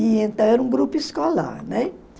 E então era um grupo escolar, né?